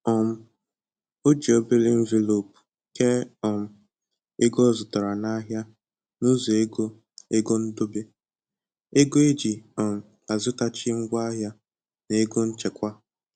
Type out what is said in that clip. um O ji obere envelopu kee um ego ọ zụtara na ahịa n'ụzọ ego ego ndobe, ego eji um azụtachi ngwa ahịa, na ego nchekwaa